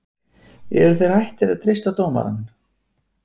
Eruð þeir hættir að treysta á dómarann?